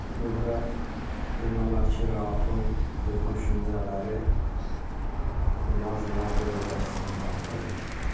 Burda demək olar ki, Raufun öz düşüncələri, bu yazılarda öz əksini tapır.